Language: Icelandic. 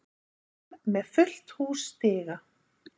Fram með fullt hús stiga